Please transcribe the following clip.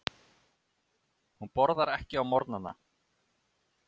Hún borðar ekki á morgnana.